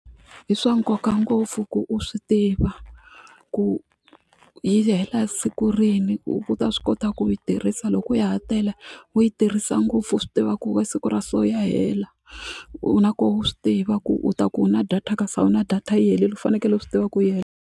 I swa nkoka ngopfu ku u swi tiva ku yi hela siku rini ku u ta swi kota ku yi tirhisa loko ya ha tele u yi tirhisa ngopfu u swi tiva ku siku ra so ya hela na koho u swi tiva ku u ta ku u na data kasi a wu na data yi helile u fanekele u swi tiva ku .